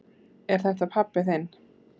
Er þetta pabbi þinn?